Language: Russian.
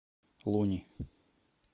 лони